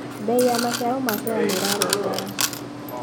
Mbei ya maciaro ma soya nĩĩrarũngara.